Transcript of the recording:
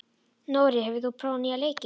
Nóri, hefur þú prófað nýja leikinn?